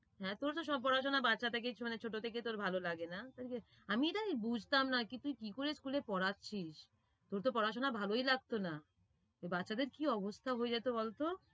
হ্যাঁ, তোর তো সব পড়াশোনা বাচ্ছা থেকেই মানে ছোট থেকেই তোর ভালোলাগে না, আমি তাই বুঝতাম না কি তুই কি করে school এ পড়াচ্ছিস তোর তো পড়াশোনা ভালোই লাগতো না বাচ্ছাদের কি অবস্থা হয়ে যেত বলতো?